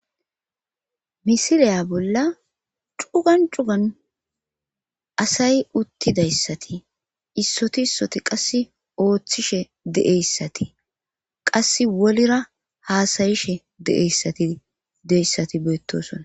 Misiliya bolla cugan cugan asay uttidayssati issoti issoti qass ooththishe deeyssati qass wolira haasayishe deeyssati deyssati beetosona.